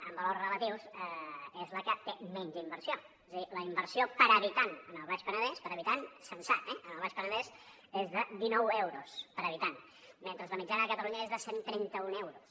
en valors relatius és la que té menys inversió és a dir la inversió per habitant al baix penedès per habitant censat eh és de dinou euros per habitant mentre que la mitjana de catalunya és de cent i trenta un euros